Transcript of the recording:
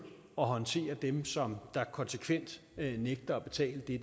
at håndtere dem som konsekvent nægter at betale det